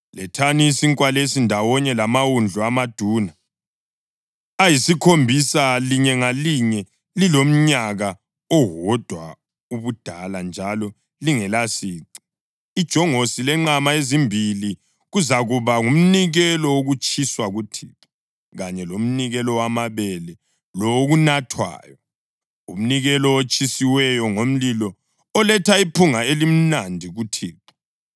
Lethani isinkwa lesi ndawonye lamawundlu amaduna ayisikhombisa, linye ngalinye lilomnyaka owodwa ubudala njalo lingelasici, ijongosi lenqama ezimbili. Kuzakuba ngumnikelo wokutshiswa kuThixo kanye lomnikelo wamabele lowokunathwayo, umnikelo otshisiweyo ngomlilo oletha iphunga elimnandi kuThixo.